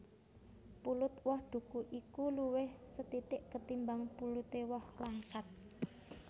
Pulut woh duku iku luwih sethithik ketimbang puluté woh langsat